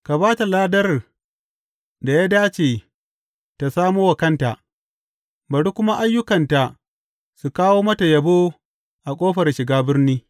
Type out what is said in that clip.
Ka ba ta ladar da ya dace tă samo wa kanta, bari kuma ayyukanta su kawo mata yabo a ƙofar shiga birni.